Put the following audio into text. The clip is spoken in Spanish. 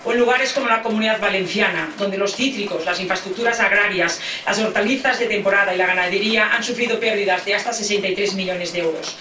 o en lugares como la Comunidad Valenciana, donde los cítricos, las infraestructuras agrarias, las hortalizas de temporada y la ganadería han sufrido pérdidas de hasta 63 millones de euros